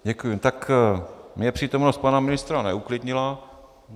Tak mě přítomnost pana ministra neuklidnila.